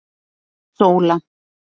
Sóla